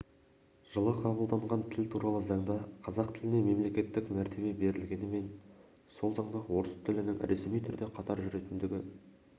жылы қабылданған тіл туралы заңда қазақ тіліне мемлекеттік мәртебе берілгенімен сол заңда орыс тілінің ресми түрде қатар жүретіндігі